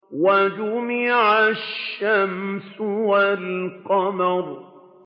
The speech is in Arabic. وَجُمِعَ الشَّمْسُ وَالْقَمَرُ